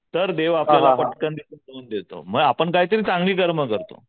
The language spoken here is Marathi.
तर देव आपल्याला पटकन देतो मग आपण काहीतरी चांगली कर्म करतो.